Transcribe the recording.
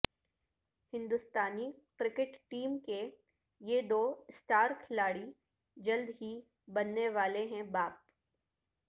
ہندوستانی cricket team کے یہ دو اسٹار کھلاڑی جلد ہی بننے والے ہیں باپ